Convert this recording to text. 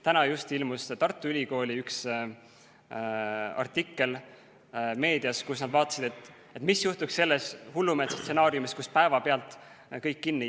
Täna just ilmus meedias üks Tartu Ülikooli artikkel, kus nad vaatasid, mis juhtuks sellise hullumeelse stsenaariumi korral, kui päevapealt jääks kõik kinni.